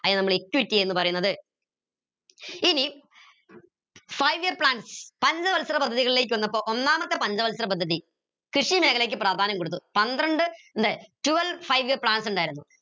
നമ്മൾ equity എന്ന് പറയുന്നത് ഇനി five year plans ഒന്നാമത്തെ പഞ്ചവത്സര പദ്ധതി കൃഷി മേഖലയ്ക്ക് പ്രാധാന്യം കൊടുത്തു പന്ത്രണ്ട് twelve five year plans ഇണ്ടായിരുന്നു